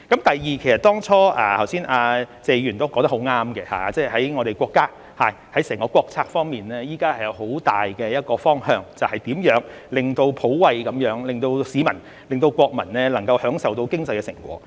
第二，其實剛才謝議員都說得很對，在我們國家層面，在整個國策方面，現時是有個很大的方向，便是如何普惠地令市民、國民能夠享受到經濟的成果。